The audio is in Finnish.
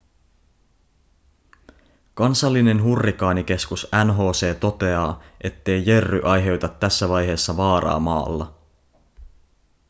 kansallinen hurrikaanikeskus nhc toteaa ettei jerry aiheuta tässä vaiheessa vaaraa maalla